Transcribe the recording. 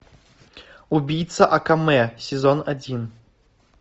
убийца акаме сезон один